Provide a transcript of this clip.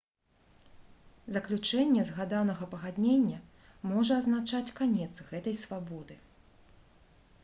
заключэнне згаданага пагаднення можа азначаць канец гэтай свабоды